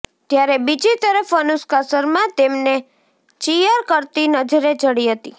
ત્યારે બીજી તરફ અનુષ્કા શર્મા તેમને ચીયર કરતી નજરે ચઢી હતી